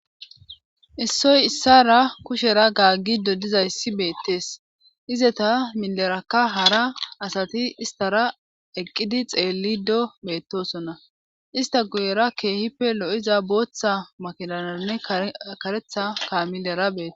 issoy issara kushera gaaggido dizayssi beettees izeta milerakka hara asati istara eqqidi xeellido beettosonna ista guyera keehippe lo7iza booththa makidananne karetha kaamilera beeta